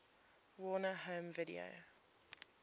warner home video